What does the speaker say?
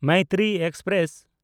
Maitri express